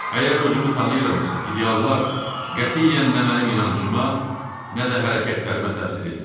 Əgər özümü tanıyıramsa, ideallar qətiyyən nə mənim inancıma, nə də hərəkətlərimə təsir etmədi.